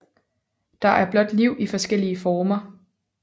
Der er blot liv i forskellige former